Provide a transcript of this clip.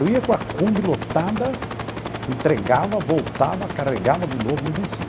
Eu ia com a kombi lotada, entregava, voltava, carregava de novo, não vencia.